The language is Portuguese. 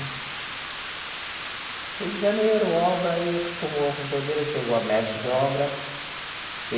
Rio de Janeiro, obra, aí acostumou como pedreiro, aí chegou a mestre de obra.